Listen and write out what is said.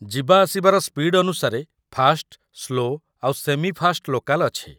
ଯିବାଆସିବାର speed ଅନୁସାରେ fast, slow ଆଉ semi fast local ଅଛି ।